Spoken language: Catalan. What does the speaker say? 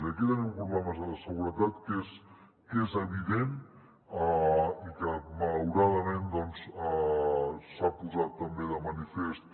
i aquí tenim un problema de seguretat que és evident i que malauradament doncs s’ha posat també de manifest